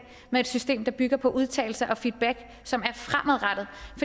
med et system der bygger på udtalelse og feedback som